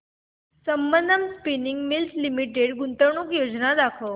Sambandam spinning mills limited गुंतवणूक योजना दाखव